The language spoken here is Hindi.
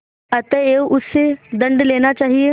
अतएव उससे दंड लेना चाहिए